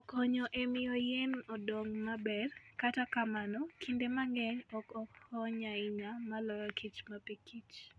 Okonyo e miyo yien odong maber, kata kamano kinde mang'eny ok okony ahinya maloyo kich mapikich.